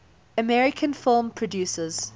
american film producers